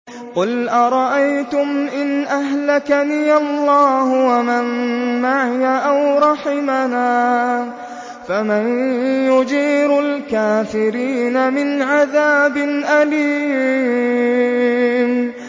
قُلْ أَرَأَيْتُمْ إِنْ أَهْلَكَنِيَ اللَّهُ وَمَن مَّعِيَ أَوْ رَحِمَنَا فَمَن يُجِيرُ الْكَافِرِينَ مِنْ عَذَابٍ أَلِيمٍ